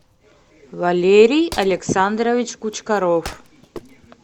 валерий александрович кучкаров